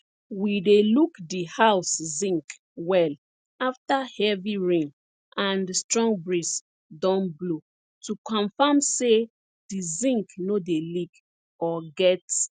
we dey look di house zinc well afta heavy rain and strong breeze don blow to confam say di zinc no dey leak or get